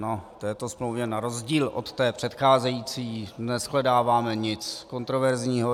V této smlouvě na rozdíl od té předcházející neshledáváme nic kontroverzního.